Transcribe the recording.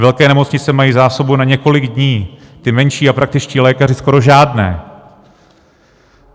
Velké nemocnice mají zásobu na několik dní, ty menší a praktičtí lékaři skoro žádné.